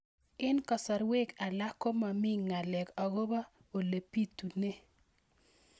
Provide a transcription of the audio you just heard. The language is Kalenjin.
Eng' kasarwek alak ko mami ng'alek akopo ole pitunee